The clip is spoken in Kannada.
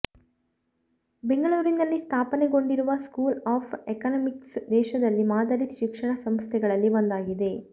ಬೆಂಗಳೂರಿನಲ್ಲಿ ಸ್ಥಾಪನೆಗೊಂಡಿರುವ ಸ್ಕೂಲ್ ಆಫ್ ಎಕನಾಮಿಕ್ಸ್ ದೇಶದಲ್ಲಿ ಮಾದರಿ ಶಿಕ್ಷಣ ಸಂಸ್ಥೆಗಳಲ್ಲಿ ಒಂದಾಗಿದೆ